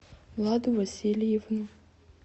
владу васильевну